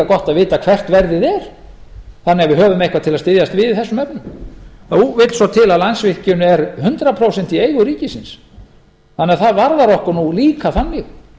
gott að vita hvert verðið er þannig að við höfum eitthvað til að styðjast við í þessum efnum nú vill svo til að landsvirkjun er hundrað prósent í eigu ríkisins þannig að það varðar okkur nú líka þannig